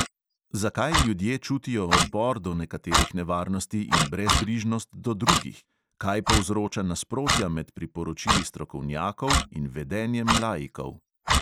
Zakaj ljudje čutijo odpor do nekaterih nevarnosti in brezbrižnost do drugih; kaj povzroča nasprotja med priporočili strokovnjakov in vedenjem laikov?